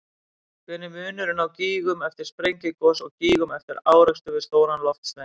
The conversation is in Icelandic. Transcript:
Hver er munurinn á gígum eftir sprengigos og gígum eftir árekstur við stóran loftstein?